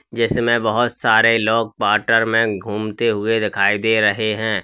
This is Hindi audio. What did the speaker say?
जैसे में बहोत सारे लोग वाटर में घूमते हुए दिखाई दे रहे हैं।